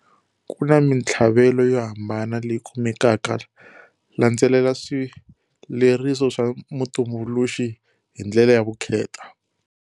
Ku na mintlhavelo yo hambana leyi kumekaka-landzelela swivleriso swa mutumbuluxi hi ndlela ya vukheta.